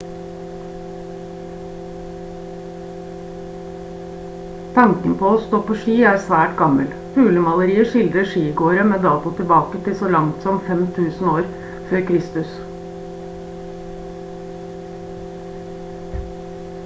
tanken på å stå på ski er svært gammel hulemalerier skildrer skigåere med dato tilbake til så langt som 5000 f.kr